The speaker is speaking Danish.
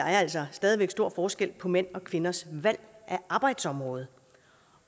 altså stadig væk stor forskel på mænd og kvinders valg af arbejdsområde